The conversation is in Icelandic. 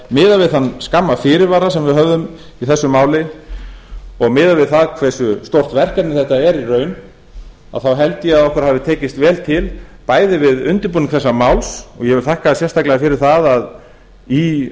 miðað við þann skamma fyrirvara sem við höfðum í þessu máli og miðað við það hversu stórt verkefni þetta er í raun held ég að okkur hafi tekist vel til bæði við undirbúning þessa máls og ég vil þakka sérstaklega fyrir það að í